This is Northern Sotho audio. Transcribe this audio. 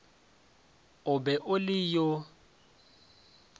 o be o le yo